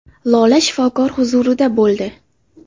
Lola shifokor huzurida bo‘ldi.